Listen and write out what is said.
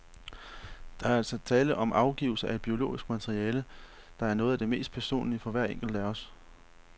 Der er altså tale om afgivelse af et biologisk materiale, der er noget af det mest personlige for hver enkelt af os.